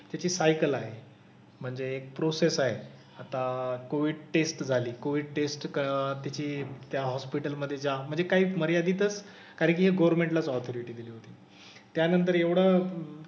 त्याची सायकल आहे. म्हणजे एक प्रोसेस आहे. आता कोविड टेस्ट झाली. कोविड टेस्ट क त्याची त्या हॉस्पिटल मधे जा. म्हणजे काही मर्यादीतच, कारण कि हे गव्हर्मेंटलाच ऑथोरिटी दिली होती. त्यानंतर एवढं,